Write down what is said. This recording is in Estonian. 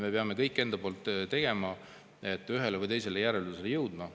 Me peame kõik enda poolt tegema, et ühele või teisele järeldusele jõuda.